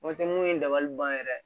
Mɔpɛti mun ye dabali ban yɛrɛ ye